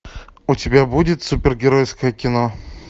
у тебя будет супергеройское кино